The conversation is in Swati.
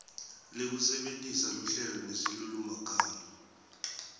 lekusebentisa luhlelo nesilulumagama